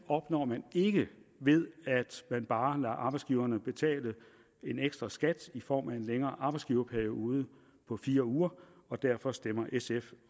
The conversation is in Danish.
opnår man ikke ved at man bare lader arbejdsgiverne betale en ekstraskat i form af en længere arbejdsgiverperiode på fire uger og derfor stemmer sf